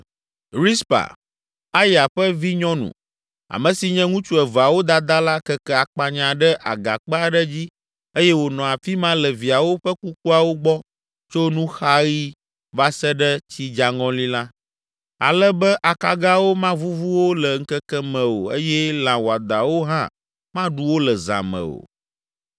Rizpa, Aya ƒe vinyɔnu, ame si nye ŋutsu eveawo dada la keke akpanya ɖe agakpe aɖe dzi eye wònɔ afi ma le viawo ƒe kukuawo gbɔ tso nuxaɣi va se ɖe tsidzaŋɔli la, ale be akagawo mavuvu wo le ŋkeke me o eye lã wɔadãwo hã maɖu wo le zã me o.